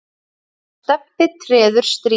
og Stebbi treður strý.